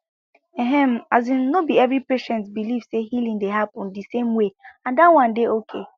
ehm asin no be every patient believe say healing dey happen di same way and that one dey okay